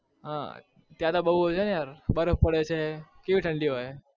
હા ત્યાં તો બહુ હોય છે ને યાર બરફ પડે છે. કેવી ઠંડી વાય?